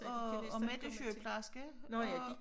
Og og Mette er sygeplejerske og